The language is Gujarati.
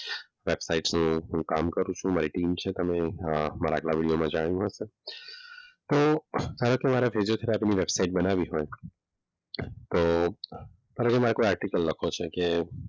હું કામ કરું છું મારી ટીમ છે તમે મારા આટલા વીડિયોમાં જાણી શકો છો. તો હવે તમારે ફિઝિયોથેરાપીસ્ટની વેબસાઈટ બનાવી હોય તો હવે કોઈ મારે આર્ટીકલ લખવો છે કે,